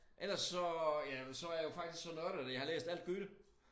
Ellers så ja så jeg jo faktisk så nørdet at jeg har læst alt Goethe